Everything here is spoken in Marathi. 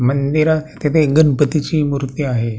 मंदिरात तेथे एक गणपतीची मुर्ती आहे.